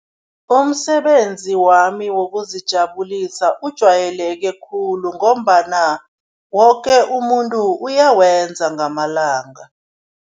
Umsebenzi wami wokuzijabulisa ujwayeleke khulu ngombana woke umuntu uyawenza ngamalanga.